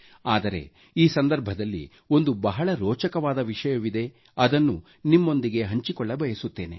ಆದರೆ ಈ ಸಂದರ್ಭದಲ್ಲಿ ಒಂದು ಬಹಳ ರೋಚಕವಾದ ವಿಷಯವಿದೆ ಅದನ್ನು ನಿಮ್ಮೊಂದಿಗೆ ಹಂಚಿಕೊಳ್ಳಬಯಸುತ್ತೇನೆ